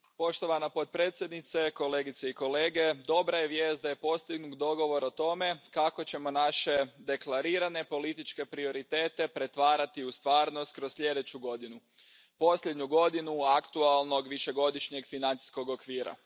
Poštovana predsjedavajuća, kolegice i kolege, dobra je vijest da je postignut dogovor o tome kako ćemo naše deklarirane političke prioritete pretvarati u stvarnost kroz sljedeću godinu, posljednju godinu aktualnog višegodišnjeg financijskog okvira.